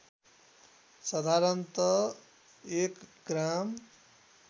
साधारणत एक ग्राम